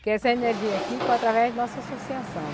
Porque essa energia aqui foi através de nossa associação.